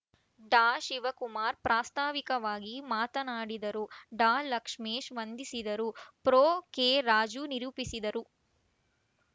ಡಾಶಿವಕುಮಾರ್‌ ಪ್ರಾಸ್ತಾವಿಕವಾಗಿ ಮಾತನಾಡಿದರು ಡಾಲಕ್ಷ್ಮೇಶ್‌ ವಂದಿಸಿದರು ಪ್ರೊ ಕೆರಾಜು ನಿರೂಪಿಸಿದರು